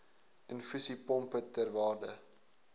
infusiepompe ter waarde